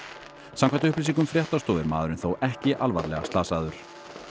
samkvæmt upplýsingum fréttastofu er maðurinn þó ekki alvarlega slasaður